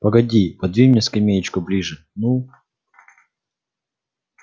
погоди подвинь мне скамеечку ближе ну